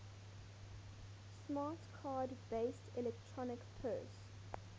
smart card based electronic purse